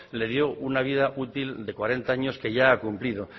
le dio una vida útil de cuarenta años que ya ha cumplido